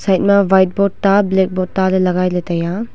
side ma white board ta black board ta ley lagailey taiya.